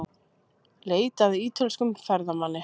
Leitað að ítölskum ferðamanni